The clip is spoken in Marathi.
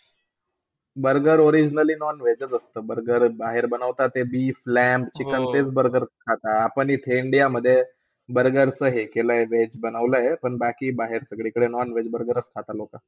Burger originally non-veg च असतं. Burger बाहेर बनवतात ते beef, lamb, chicken तेच BURGER आपण इथे इंडियामध्ये burger हे veg बनवलाय पण बाकी बाहेर सगळीकडे non-veg BURGER खाता लोक